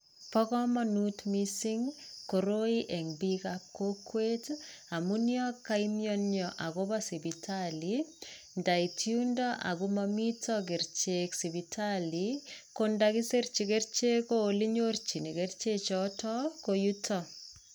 Bo komonut missing koroi en biik ab kokwet tii amun yon koinyonyo akopo sipitali ndait yundo ako momiten kerichek sipitali ko itokisirji kerechek ko olenyorji keriche ko yutok.